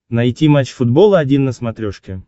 найти матч футбол один на смотрешке